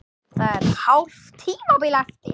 Það er hálft tímabil eftir!